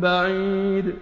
بَعِيدٌ